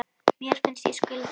Mér finnst ég skulda